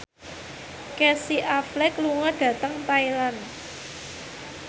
Casey Affleck lunga dhateng Thailand